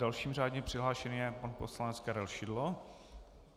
Dalším řádně přihlášeným je pan poslanec Karel Šidlo.